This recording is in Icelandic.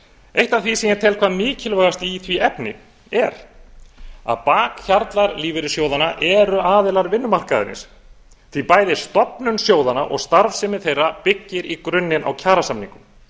eitt af því sem ég tel hvað mikilvægast í því efni er að bakhjarlar lífeyrissjóðanna eru aðilar vinnumarkaðarins því bæði stofnun sjóðanna og starfsemi þeirra byggir í grunninn á kjarasamningum